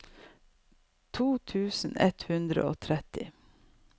to tusen ett hundre og tretti